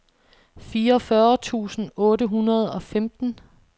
fireogfyrre tusind otte hundrede og femten